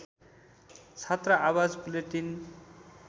छात्र आवाज बुलेटिन